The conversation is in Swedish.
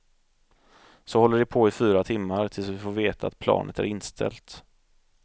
Så håller det på i fyra timmar tills vi får veta att planet är inställt.